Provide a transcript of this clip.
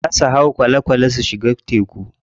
Za su hau kwale kwale su shiga teku.